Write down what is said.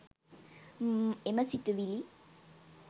එම සිතුවිලි